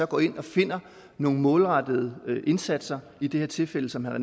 går ind og finder nogle målrettede indsatser i det her tilfælde som herre